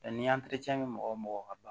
ni be mɔgɔ mɔgɔ ka